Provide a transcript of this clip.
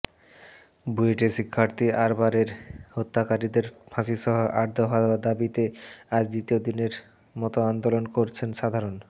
বুয়েটের শিক্ষার্থী আবরারের হত্যাকারীদের ফাঁসিসহ আট দফা দাবিতে আজ দ্বিতীয় দিনের মতো আন্দোলন করছেন সাধারণ